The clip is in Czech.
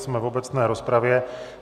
Jsme v obecné rozpravě.